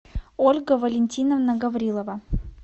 ольга валентиновна гаврилова